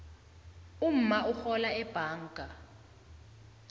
umma urhola ebhanga